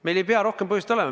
Meil ei pea rohkem põhjust olema.